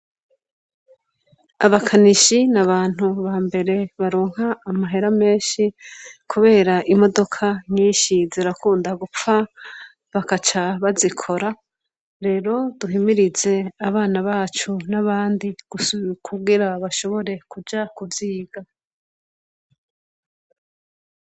Abakanishi n'abantu ba mbere baronka amahera menshi ,kubera imodoka nyinshi zirakunda gupfa bagaca bazikora, rero duhimirize abana bacu n'abandi kugira bashobore kuja kuziga.